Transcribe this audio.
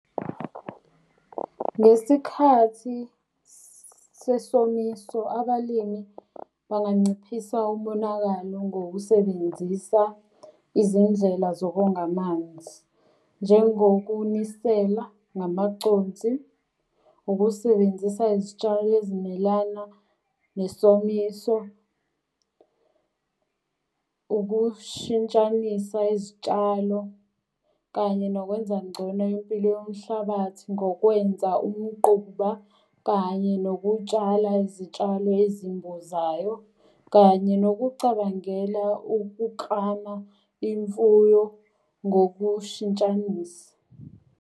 Ngesikhathi sesomiso abalimi banganciphisa umonakalo ngokusebenzisa izindlela zokonga amanzi. Njengokunisela ngamaconsi, ukusebenzisa izitshalo ezimelana nesomiso, ukushintshanisa izitshalo, kanye nokwenza ngcono impilo yomhlabathi ngokwenza umquba, kanye nokutshala izitshalo ezimbozayo, kanye nokucabangela ukuklama imfuyo ngokushintshanisa.